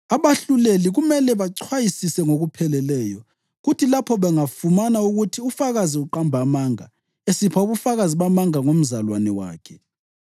Abahluleli kumele bachwayisise ngokupheleleyo kuthi lapho bangafumana ukuthi ufakazi uqamba amanga, esipha ubufakazi bamanga ngomzalwane wakhe,